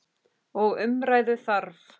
Og umræðu þarf.